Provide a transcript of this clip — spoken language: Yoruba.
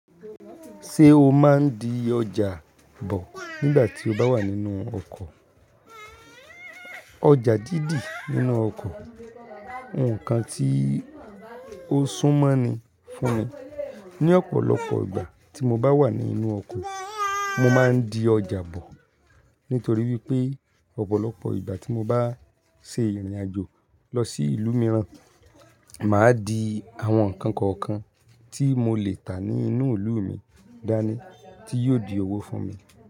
Ṣé o máa ń di ọjà bọ̀ nígbà tí o bá wà nínú ọkọ̀? Ọjà dídì nínú ọkọ̀, ǹkan tí ó sún mọ́ ni fún ni. Ni ọ̀pọ̀lọpọ̀ ìgbà tí mo bá wà nínú ọkọ̀, mo máa ń di ọjà bọ̀. Nítorí wípé ọ̀pọ̀lọpọ̀ ìgbà tí mo bá ń ṣe ìrìnàjò lọ sí ìlú mìíràn, màá di àwọn ǹkan kọ̀ọ̀kan tí mo lè tà ní inú ìlú mi dání tí yóò di owó fún mi.